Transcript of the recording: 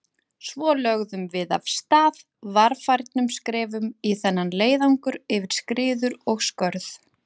Svo lögðum við af stað, varfærnum skrefum í þennan leiðangur yfir skriður og skörð.